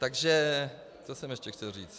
Takže o jsem ještě chtěl říct?